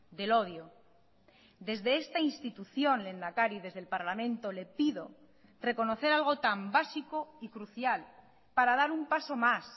del odio desde esta institución lehendakari desde el parlamento le pido reconocer algo tan básico y crucial para dar un paso más